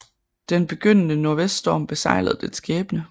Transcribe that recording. Den begyndende nordvest storm beseglede dets skæbne